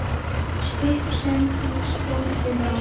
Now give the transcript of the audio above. Skip sem húsbóndinn átti?